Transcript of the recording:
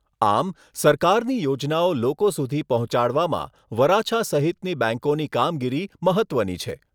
આમ, સરકારની યોજનાઓ લોકો સુધી પહોંચાડવામાં વરાછા સહિતની બેંકોની કામગીરી મહત્ત્વની છે.